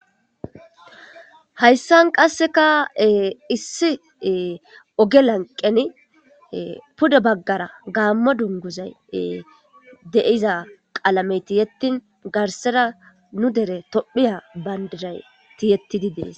Hayissani ta beyidde ogge laniqqeni pudde baggara gamo dunguza qalameyi tiyettini dugge baggara tophiya banidira qalameyi tiyetisi